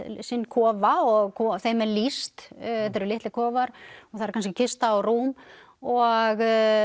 sinn kofa og kofa og þeim er lýst þetta eru litlir kofar og það eru kannski kista og rúm og